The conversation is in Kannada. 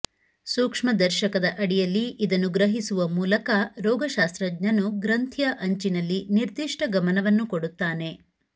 ಸೂಕ್ಷ್ಮದರ್ಶಕದ ಅಡಿಯಲ್ಲಿ ಇದನ್ನು ಗ್ರಹಿಸುವ ಮೂಲಕ ರೋಗಶಾಸ್ತ್ರಜ್ಞನು ಗ್ರಂಥಿಯ ಅಂಚಿನಲ್ಲಿ ನಿರ್ದಿಷ್ಟ ಗಮನವನ್ನು ಕೊಡುತ್ತಾನೆ